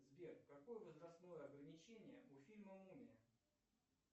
сбер какое возрастное ограничение у фильма мумия